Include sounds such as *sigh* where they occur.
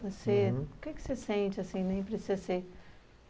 Você... Uhum. *unintelligible* que que você sente, assim, nem precisa ser?